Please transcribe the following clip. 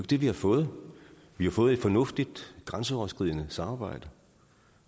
det vi har fået vi har fået et fornuftigt grænseoverskridende samarbejde